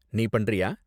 நீ பண்றியா?